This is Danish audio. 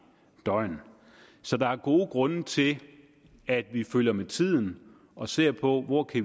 døgn så der er gode grunde til at vi følger med tiden og ser på hvor vi